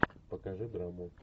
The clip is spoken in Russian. покажи драму